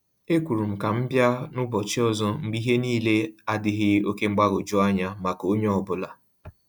Ekwuru m ka m bịa n’ụbọchị ọzọ mgbe ihe niile adịghị oke mgbagwoju anya maka onye ọ bụla.